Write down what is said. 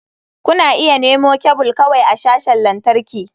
Kuna iya nemo kebul kawai a sashin lantarki.